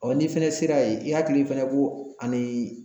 n'i fɛnɛ sera ye i hakili fɛnɛ bo ani